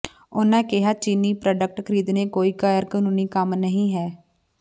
ਉਨ੍ਹਾਂ ਕਿਹਾ ਚੀਨੀ ਪ੍ਰਾਡਕਟ ਖਰੀਦਣੇ ਕੋਈ ਗ਼ੈਰ ਕਾਨੂੰਨੀ ਕੰਮ ਨਹੀਂ ਹੈ